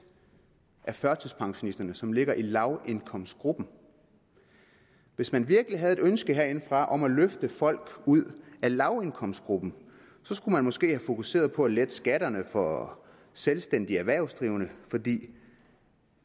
af førtidspensionisterne som ligger i lavindkomstgruppen hvis man virkelig havde et ønske herindefra om at løfte folk ud af lavindkomstgruppen skulle man måske have fokuseret på at lette skatterne for selvstændigt erhvervsdrivende fordi